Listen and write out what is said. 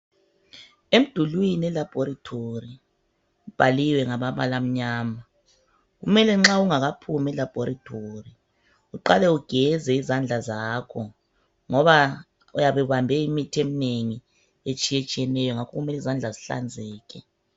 Emdulwini elabhorethori kubhaliwe ngamabala amnyama. Kumele nxa ungakaphumi elabhorethori, uqale ugeze izandla zakho ngoba uyabe ubambe imithi eminengi etshiyetshiyeneyo ngakho kumele izandla zihlanzeke.